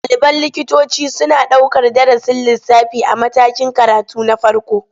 Ɗaliban likitoci suna ɗaukar darasin lissafi a matakin karatu na farko.